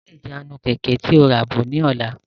Mú ìjánu Kẹ̀kẹ́ tí ó ràbọ̀ ni ọ̀la!